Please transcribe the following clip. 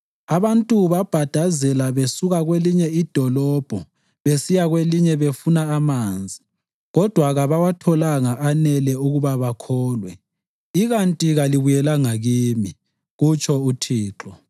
Abantu babhadazela besuka kwelinye idolobho besiya kwelinye befuna amanzi kodwa kabawatholanga anele ukuba bakholwe, ikanti kalibuyelanga kimi,” kutsho uThixo.